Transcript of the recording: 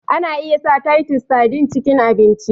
Ana iya sa titus sardine cikin abinci